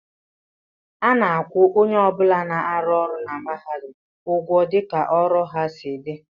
A na-akwụ onye ọ bụla na-arụ ọrụ na mahadum ụgwọ dịka ọrụ ha si dị